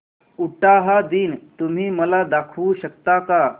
उटाहा दिन तुम्ही मला दाखवू शकता का